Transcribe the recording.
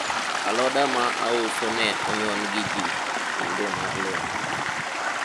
aloda ma auso ne onyon gi ji kinde mag lweny